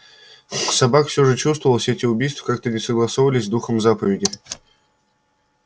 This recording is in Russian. собак всё же чувствовалось все эти убийства как-то не согласовывались с духом заповеди